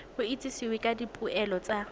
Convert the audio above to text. go itsisiwe ka dipoelo tsa